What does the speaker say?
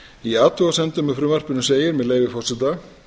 í athugasemdum með frumvarpinu segir með leyfi forseta